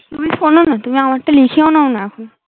তুমি শোনো না তুমি আমার টা লিখে ও নাও না এখন